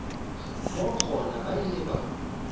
moo gona ba ile ba